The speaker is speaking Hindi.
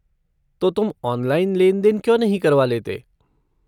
तो तुम ऑनलाइन लेन देन क्यों नहीं करवा लेते?